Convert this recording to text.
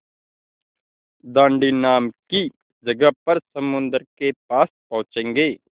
दाँडी नाम की जगह पर समुद्र के पास पहुँचेंगे